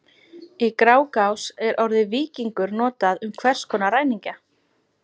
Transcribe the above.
Í Grágás er orðið víkingur notað um hvers konar ræningja.